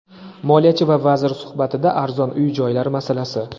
Moliyachi va vazir suhbatida arzon uy-joylar masalasi.